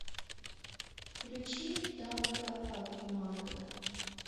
включи танго обниманго